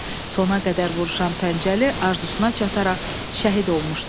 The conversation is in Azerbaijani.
Sona qədər vuruşan Pəncəli arzusuana çataraq şəhid olmuşdu.